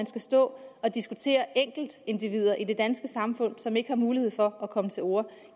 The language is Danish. skal stå og diskutere enkeltindivider i det danske samfund som ikke har mulighed for at komme til orde